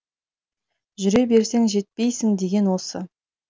жүре берсең жетпйсің деген осы